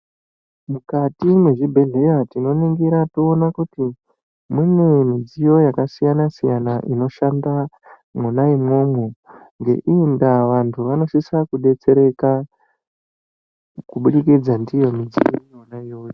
Mukati mezvibhedhlera tinoningira teyiwona kuti mune midziyo yakasiyana siyana, inoshanda mona imwomwo. Nge iyi ndava, vantu vanosise kudetsereka kubudikidza ndiyo midziyo yona yoyo.